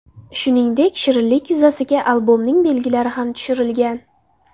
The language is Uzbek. Shuningdek, shirinlik yuzasiga albomning belgilari ham tushirilgan.